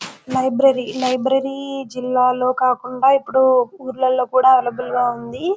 Library library జిల్లాలో కాకుండా ఇప్పుడు ఊర్లలో కూడా అవైలబ్లె గ ఉంది.